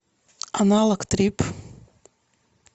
аналог трип